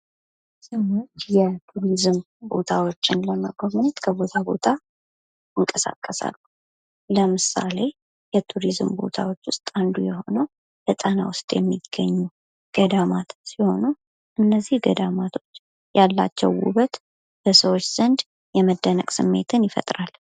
ሰዎች የቱሪዝም ቦታዎችን ለመጎብኘት ከቦታ ቦታ ይንቀሳቀሳሉ ለምሳሌ ከቱሪዝም ቦታዎች ውስጥ አንዱ የሆነው የጣና ሐይቅ ውስጥ የሚገኙ ገዳማቶች ሲሆኑ ፤ እነዚህ ገዳማቶች ያላቸው ውበት በሰዎች ዘንድ የመደነቅ ስሜትን ይፈጥራል።